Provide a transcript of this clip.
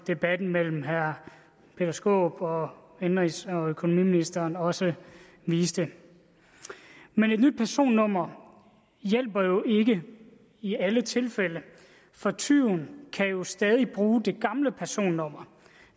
debatten mellem herre peter skaarup og indenrigs og økonomiministeren også viste men et nyt personnummer hjælper jo ikke i alle tilfælde for tyven kan jo stadig bruge det gamle personnummer